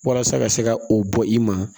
Walasa ka se ka o bɔ i ma